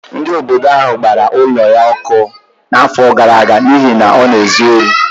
Ndị obodo ahụ gbara ụlọ ya ọkụ n’afọ gara aga n’ihi na ọ na-ezu ohi.